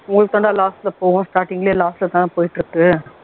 உங்களுக்கு வேணும்னா last போகும் starting லயே last ல தான போயிட்டு இருக்குது